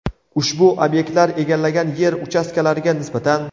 ushbu obyektlar egallagan yer uchastkalariga nisbatan;.